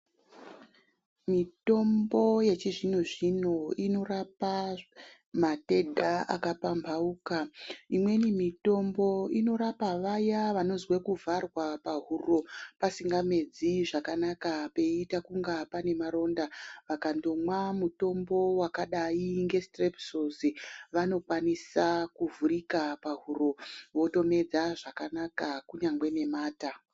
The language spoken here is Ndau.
Mitombo yechizvinozvino inorapa matenda akapamhauka imweni mitombo inorapa vaya vanozwe kuvharwa pahuro pasingamedzi zvakanaka peita kunga panemaronda vakandomwa mutombo wakadai ngesitirepisosi vanokwanisa kuvhurika pahuro votomedza zvakanaka kunyangwe nemata.